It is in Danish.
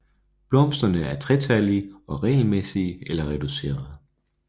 Blomsterne er tretallige og regelmæssige eller reducerede